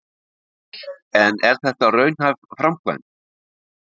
En er þetta raunhæf framkvæmd?